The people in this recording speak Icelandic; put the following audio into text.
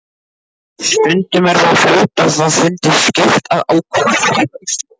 Stundum er þó hluthafafundi skylt að ákveða félagsslit.